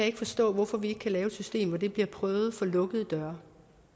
ikke forstå hvorfor vi ikke kan lave et system hvor det bliver prøvet for lukkede døre